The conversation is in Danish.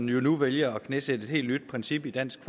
jo nu vælger at knæsætte et helt nyt princip i dansk